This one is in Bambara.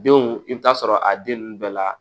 Denw i bɛ taa sɔrɔ a den ninnu bɛɛ la